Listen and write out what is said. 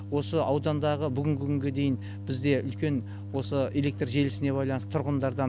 осы аудандағы бүгінгі күнге дейін бізде үлкен осы электр желісіне байланысты тұрғындардан